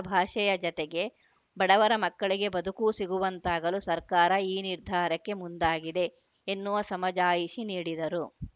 ಭಾಷೆಯ ಜತೆಗೆ ಬಡವರ ಮಕ್ಕಳಿಗೆ ಬದುಕೂ ಸಿಗುವಂತಾಗಲು ಸರ್ಕಾರ ಈ ನಿರ್ಧಾರಕ್ಕೆ ಮುಂದಾಗಿದೆ ಎನ್ನುವ ಸಮಜಾಯಿಷಿ ನೀಡಿದರು